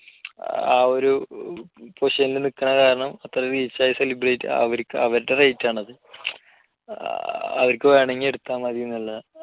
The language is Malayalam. ആ ഒരു position ൽ നിൽക്കുന്നത് കാരണം അത്രയും reach ആയ celebrity അവരുടെ rate ആണത്. അവർക്ക് വേണമെങ്കിൽ എടുത്താൽ മതി എന്നുള്ള